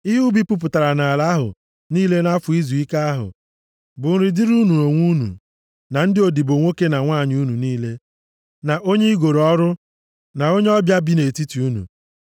Ihe ubi puputara nʼala ahụ niile nʼafọ izuike ahụ bụ nri dịrị unu onwe unu, na ndị odibo nwoke na nwanyị unu niile, na onye i goro ọrụ, na onye ọbịa bi nʼetiti unu.